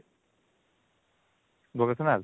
vocational